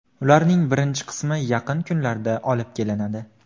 Ularning birinchi qismi yaqin kunlarda olib kelinadi.